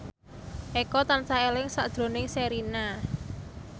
Eko tansah eling sakjroning Sherina